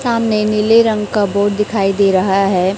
सामने नीले रंग का बोर्ड दिखाई दे रहा है।